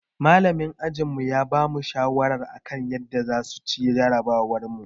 Malamin ajinmu ya bamu shawarwari akan yadda zamu ci jarabawarmu